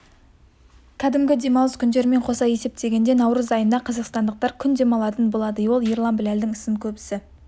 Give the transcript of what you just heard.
кәдімгі демалыс күндерімен қоса есептегенде наурыз айында қазақстандықтар күн демалатын болады ол ерлан біләлдің ісін көбісі